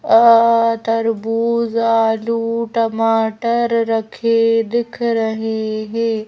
अह तरबूज आलू टमाटर रखे दिख रहे हैं।